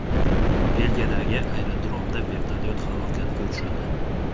Belgiyadagi aerodromda vertolyot halokatga uchradi.